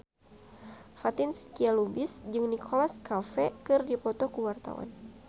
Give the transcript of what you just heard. Fatin Shidqia Lubis jeung Nicholas Cafe keur dipoto ku wartawan